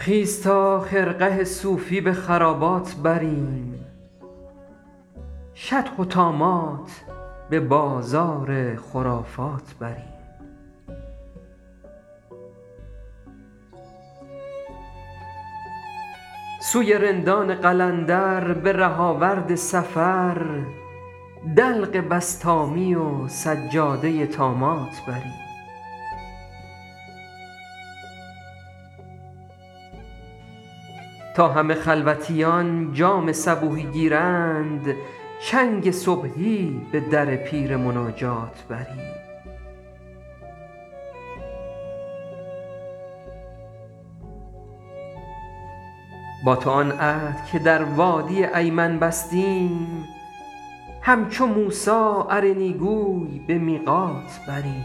خیز تا خرقه صوفی به خرابات بریم شطح و طامات به بازار خرافات بریم سوی رندان قلندر به ره آورد سفر دلق بسطامی و سجاده طامات بریم تا همه خلوتیان جام صبوحی گیرند چنگ صبحی به در پیر مناجات بریم با تو آن عهد که در وادی ایمن بستیم همچو موسی ارنی گوی به میقات بریم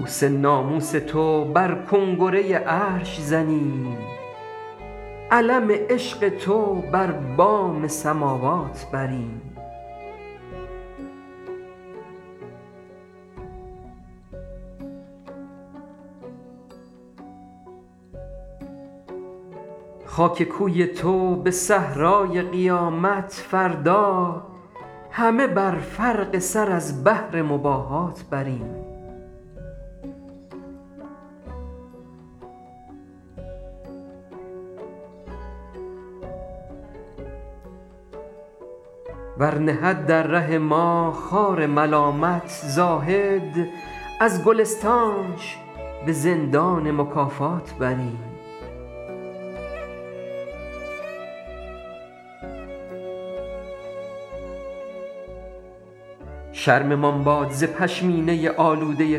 کوس ناموس تو بر کنگره عرش زنیم علم عشق تو بر بام سماوات بریم خاک کوی تو به صحرای قیامت فردا همه بر فرق سر از بهر مباهات بریم ور نهد در ره ما خار ملامت زاهد از گلستانش به زندان مکافات بریم شرممان باد ز پشمینه آلوده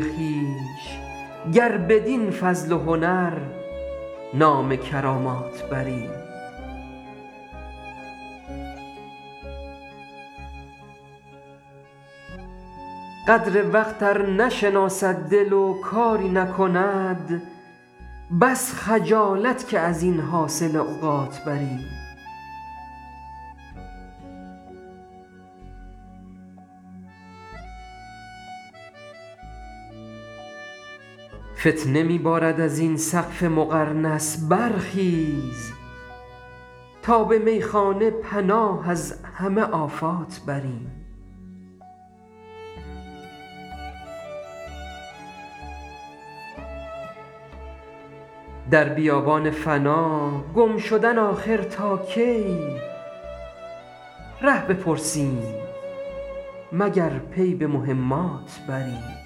خویش گر بدین فضل و هنر نام کرامات بریم قدر وقت ار نشناسد دل و کاری نکند بس خجالت که از این حاصل اوقات بریم فتنه می بارد از این سقف مقرنس برخیز تا به میخانه پناه از همه آفات بریم در بیابان فنا گم شدن آخر تا کی ره بپرسیم مگر پی به مهمات بریم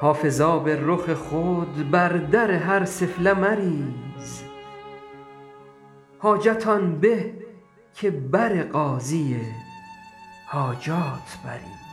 حافظ آب رخ خود بر در هر سفله مریز حاجت آن به که بر قاضی حاجات بریم